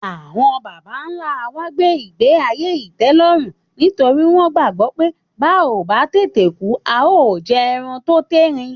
Àwọn bàbá-ńlá wa gbé ìgbé-ayé ìtẹ́lọ́rùn torí wọ́n gbàgbọ́ pé bá ò bá tètè kú, a óò jẹran tó térin